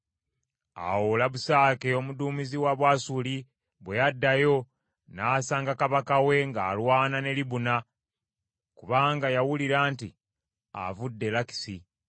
Awo Labusake omuduumizi wa Bwasuli bwe yaddayo, n’asanga kabaka w’e ng’alwana ne Libuna: kubanga yawulira nti avudde e Lakisi.